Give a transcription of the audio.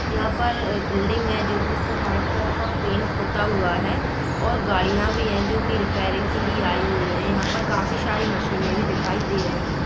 यहां पर एक बिल्डिंग है जो की वाइट कलर का पेंट होता हुआ है और गाड़ियां भी है जो की रिपेयरिंग के लिए आई हुई है यहां पर काफी सारी मशीन भी दिखाई दे रही है।